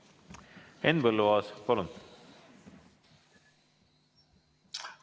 Henn Põlluaas, palun!